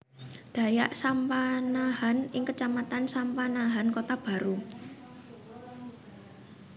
Dayak Sampanahan ing kecamatan Sampanahan Kotabaru